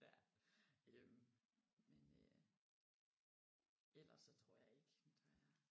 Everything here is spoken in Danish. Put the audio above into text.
Ja øh men øh ellers så tror jeg ikke at der er